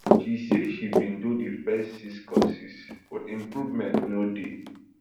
she say she bin do di first six courses but improvement no dey